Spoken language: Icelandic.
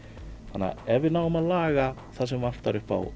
þannig að ef við náum að laga það sem vantar upp á